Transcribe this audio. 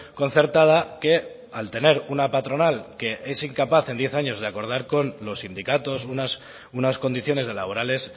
concertada que al tener una patronal que es incapaz en diez años de acordar con los sindicatos unas condiciones laborales